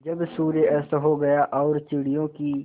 जब सूर्य अस्त हो गया और चिड़ियों की